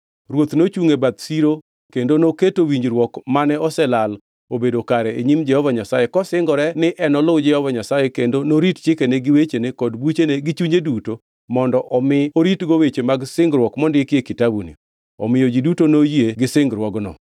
Ruoth nochungʼ e bath siro kendo noketo winjruok mane oselal obedo kare e nyim Jehova Nyasaye kosingore ni enoluw Jehova Nyasaye kendo norit chikene gi wechene kod buchene gi chunye duto, mondo omi oritgo weche mag singruok mondiki e kitabuni. Omiyo ji duto noyie gi singruogno.